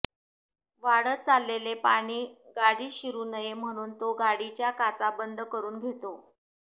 वाढत चाललेले पाणी गाडीत शिरू नये म्हणून तो गाडीच्या काचा बंद करून घेतो